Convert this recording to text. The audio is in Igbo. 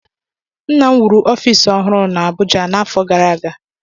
Nna m wuru ọfiisi ọhụrụ na Abụja n'afọ gara aga.